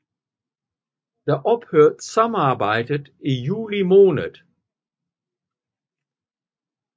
Derfor ophørte samarbejdet i juli måned